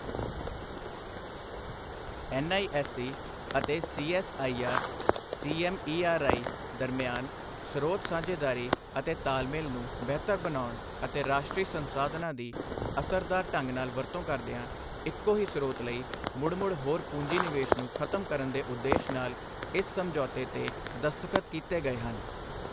NISE ਅਤੇ CSIR CMERI ਦਰਮਿਆਨ ਸਰੋਤ ਸਾਂਝੇਦਾਰੀ ਅਤੇ ਤਾਲਮੇਲ ਨੂੰ ਬਿਹਤਰ ਬਣਾਉਣ ਅਤੇ ਰਾਸ਼ਟਰੀ ਸੰਸਾਧਨਾਂ ਦੀ ਅਸਰਦਾਰ ਢੰਗ ਨਾਲ ਵਰਤੋਂ ਕਰਦਿਆਂ ਇਕੋ ਹੀ ਸਰੋਤ ਲਈ ਮੁੜ ਮੁੜ ਹੋਰ ਪੂੰਜੀ ਨਿਵੇਸ਼ ਨੂੰ ਖਤਮ ਕਰਨ ਦੇ ਉਦੇਸ਼ ਨਾਲ ਇਸ ਸਮਝੌਤੇ ਤੇ ਦਸਤਖਤ ਕੀਤੇ ਗਏ ਹਨ।